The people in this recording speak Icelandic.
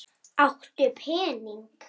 Áttu pening?